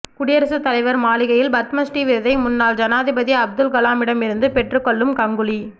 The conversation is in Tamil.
குடியரசுத் தலைவர் மாளிகையில் பத்மஸ்ரீ விருதை முன்னாள் ஜனாதிபதி அப்துல்கலாமிடமிருந்து பெற்று கொள்ளும் கங்குலி